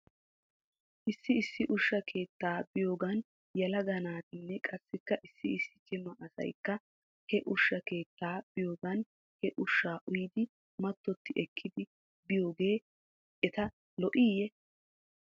Issi issi ushsha keettaa biyoogan yelaga naattinne qassikka issi issi cima asaykka he ushsha keettaa biyoogan he ushshaa uyidi mattotti ekkidi biyoogee eta lo'iiyye?